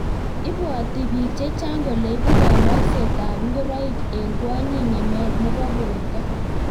ibwoti biik chechang kole ibuu kaloksetab ngoroik eng kwonyik ng'emet nebo borto